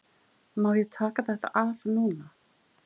Má ég taka þetta af núna?